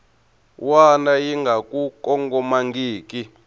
wana yi nga ku kongomangiki